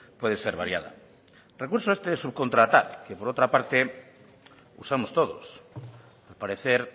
puede ser variada recurso este de subcontratar que por otra parte usamos todos al parecer